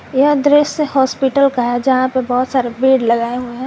यह दृश्य हॉस्पिटल का है जहां पे बहोत सारे बेड लगाए हुए है।